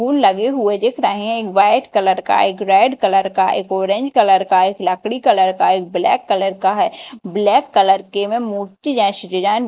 फूल लगे हुए दिख रहे हैं। एक वाइट कलर का एक रेड कलर का एक ऑरेंज कलर का एक लकड़ी कलर का एक ब्लैक कलर का है। ब्लैक कलर के में मोती जैसी डिज़ाइन --